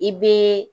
I be